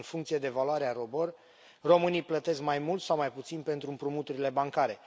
În funcție de valoarea ROBOR, românii plătesc mai mult sau mai puțin pentru împrumuturile bancare.